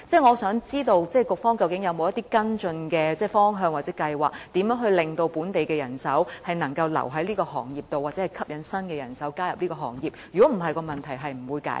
我想知道，局方究竟是否有一些跟進的方向或計劃，令本地人手能夠留在這個行業或吸引新人手加入這個行業，否則問題便無法解決？